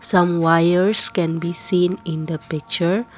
some wires can be seen in the picture.